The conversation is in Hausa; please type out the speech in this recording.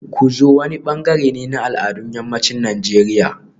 Ku zo wani bangare ne na al'adun yammacin Najeriya